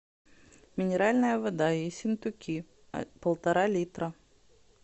минеральная вода ессентуки полтора литра